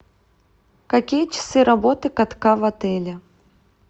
какие часы работы катка в отеле